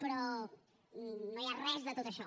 però no hi ha res de tot això